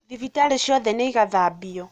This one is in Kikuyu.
Thibitarĩ ciothe nĩigathambio